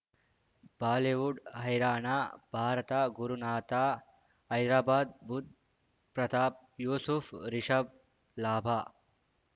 Bollywood ಹೈರಾಣ ಭಾರತ ಗುರುನಾಥ ಹೈದರಾಬಾದ್ ಬುಧ್ ಪ್ರತಾಪ್ ಯೂಸುಫ್ ರಿಷಬ್ ಲಾಭ